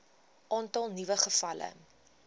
aantal nuwe gevalle